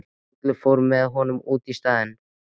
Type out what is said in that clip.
Kollur fór með honum út í staðinn.